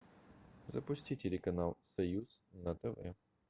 запусти телеканал союз на тв